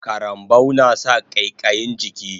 Karambau nasa ƙaiƙayin jiki